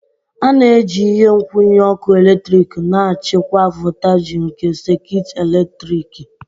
A na-eji ihe nkwụnye ọkụ eletrik na-achịkwa voltaji nke sekit eletriki.